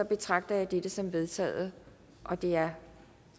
betragter jeg det som vedtaget det er